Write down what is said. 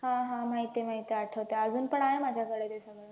हा हा माहित आहे माहित आहे, आठवतंय अजून पण आहे माझ्याकडे ते सगळं